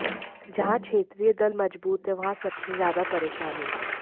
जहां क्षेत्रीय दल मजबूत है वहां सबसे ज्यादा परेशानी